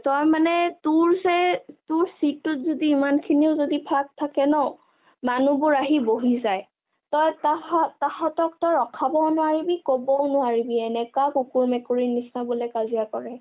তই মানে তোৰ জে চিটটোত যদি ইমান সিনিও যদি ফাক থাকে ন মানুহবোৰ আহি বহি যায় । তই তাঁহাতক ৰখাবও নোৱাৰিবি কবও নোৱাৰিবি, এনকা কুকুৰ মেকুৰী নিচিনা বোলে কাজিয়া কৰে ।